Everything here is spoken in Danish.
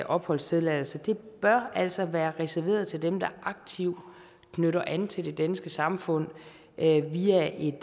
opholdstilladelse altså bør være reserveret til dem der aktivt knytter an til det danske samfund via et